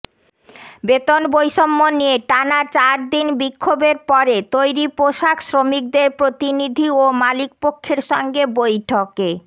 বেতন বৈষম্য নিয়ে টানা চারদিন বিক্ষোভের পরে তৈরি পোশাক শ্রমিকদের প্রতিনিধি ও মালিকপক্ষের সঙ্গে বৈঠকে